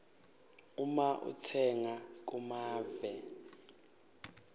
uma utsenga kumave